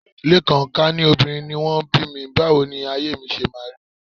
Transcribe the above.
Lékan, ká ní obìnrin ni wọ́n bí mi, báwo ni ayé mi ṣe máa rí